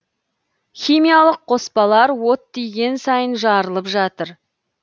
химиялық қоспалар от тиген сайын жарылып жатыр